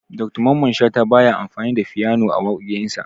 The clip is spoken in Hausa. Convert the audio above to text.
Dr mamman shata baya amfani da fyano a waƙoƙin sa